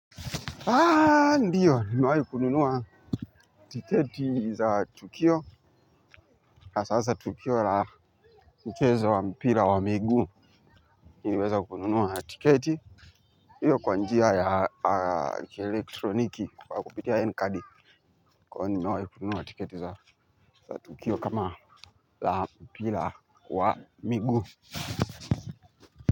Ndiyo nimewahi kununua tiketi za tukio hasahasa tukio la mchezo wa mpira wa miguu niliweza kununua tiketi hiyo kwa njia ya kielektroniki kwa kupitia N-cardi kwa hivo nimewahi kununua tiketi za tukio kama la mpira wa miguu.